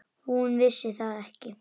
Hún vissi það ekki.